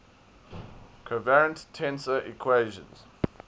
covariant tensor equations